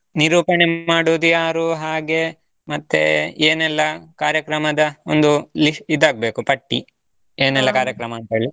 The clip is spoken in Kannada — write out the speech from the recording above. ನಿರೂಪಣೆ ಮಾಡೋದು ಯಾರು? ಹಾಗೆ ಮತ್ತೆ ಏನೆಲ್ಲಾ ಕಾರ್ಯಕ್ರಮದಾ ಒಂದು ಲಿ ಇದಾಗ್ಬೇಕು ಪಟ್ಟಿ ಏನೆಲ್ಲಾ ಕಾರ್ಯಕ್ರಮ ಅಂತ್ಹೇಳಿ.